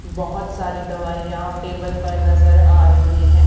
बोहोत सारी दवाईयां टेबल पर नजर आ रही है।